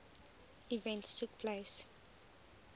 events took place